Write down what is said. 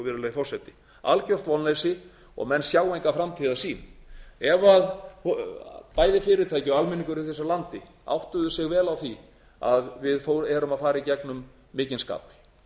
virðulegi forseti algert vonleysi og menn sjá enga framtíðarsýn ef bæði fyrirtæki og almenningur í þessu landi áttuðu sig vel á því að við erum að fara í gegnum mikinn skafl